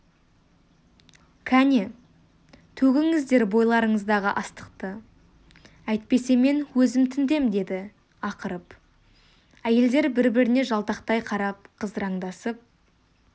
кәне төгіңіздер бойларыңыздағы астықты әйтпесе мен өзім тінтем деді ақырып әйелдер бір-біріне жалтақтай қарап қызараңдасып